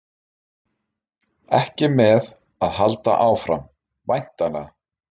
Ekki með að halda áfram, væntanlega?